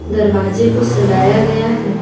दरवाजे को सजाया गया है।